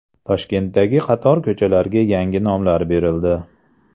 Toshkentdagi qator ko‘chalarga yangi nomlar berildi .